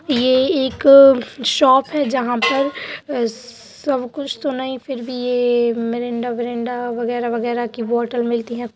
ये एक शॉप है। जहाँ पर सब कुछ नहीं पर मिरिंडा विरिंडा वगैरा वगैरा की बॉटल मिलती हैं।